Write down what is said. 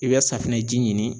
I bɛ safunɛ ji ɲini